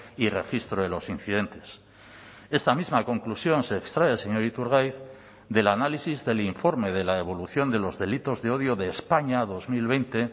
y registro de los incidentes esta misma conclusión se extrae señor iturgaiz del análisis del informe de la evolución de los delitos de odio de españa dos mil veinte